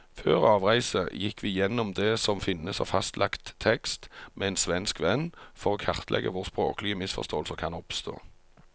Før avreise gikk vi gjennom det som finnes av fastlagt tekst med en svensk venn, for å kartlegge hvor språklige misforståelser kan oppstå.